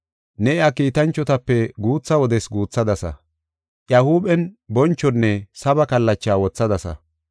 Ne iya kiitanchotape guutha wodes guuthadasa; Iya huuphen bonchonne saba kallacha wothadasa.